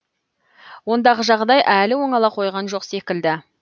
ондағы жағдай әлі оңала қойған жоқ секілді